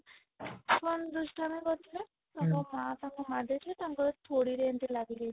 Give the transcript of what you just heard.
ଦୁଷ୍ଟାମୀ କରିଥିଲେ ତାଙ୍କ ମା ତାଙ୍କୁ ମାରିଦେଇଥିଲେ ତାଙ୍କର ଥୋଡୀ ରେ ଏମିତି ଲାଗିଯାଇଥିଲା